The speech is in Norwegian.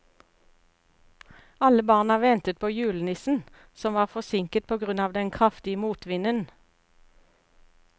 Alle barna ventet på julenissen, som var forsinket på grunn av den kraftige motvinden.